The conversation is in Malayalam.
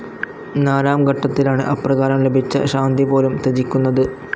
നാലാം ഘട്ടത്തിലാണ് അപ്രകാരം ലഭിച്ച ശാന്തി പോലും ത്യജിക്കുന്നത്.